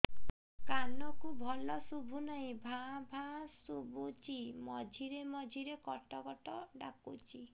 କାନକୁ ଭଲ ଶୁଭୁ ନାହିଁ ଭାଆ ଭାଆ ଶୁଭୁଚି ମଝିରେ ମଝିରେ କଟ କଟ ଡାକୁଚି